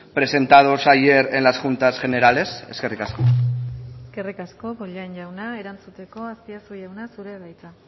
presentados ayer en las juntas generales eskerrik asko eskerrik asko bollain jauna erantzuteko azpiazu jauna zurea da hitza